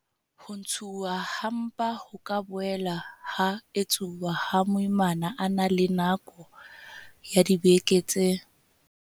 Ho ntshuwa ha mpa ho ka boela ha etsuwa ha moimana a na le nako ya dibeke tse.